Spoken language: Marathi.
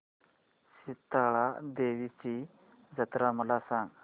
शितळा देवीची जत्रा मला सांग